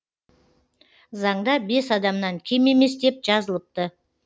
заңда бес адамнан кем емес деп жазылыпты